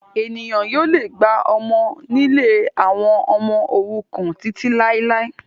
Ènìyàn yóò le gba ọmọ nílé àwọn ọmọ òrukàn títí làilái